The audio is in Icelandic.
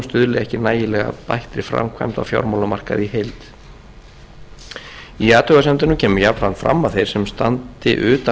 stuðli ekki nægilega að bættri framkvæmd á fjármálamarkaði í heild í athugasemdunum kemur jafnframt fram að þeir sem standi utan